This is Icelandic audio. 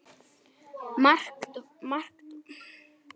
Margt var líkt með okkur.